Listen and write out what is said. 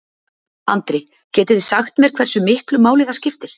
Andri: Getið þið sagt mér hversu miklu máli það skiptir?